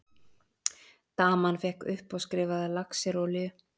Daman fékk uppáskrifaða laxerolíu.